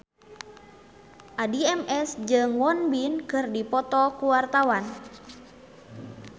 Addie MS jeung Won Bin keur dipoto ku wartawan